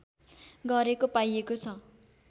गरेको पाइएको छ